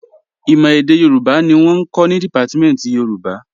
Ìmọ̀ èdè Yorùbá ni wọ́n ń kọ́ ní Dìpátímẹ̀ntì Yorùbá